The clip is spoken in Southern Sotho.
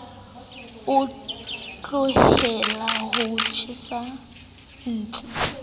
o tlohelle ho tjha ntshi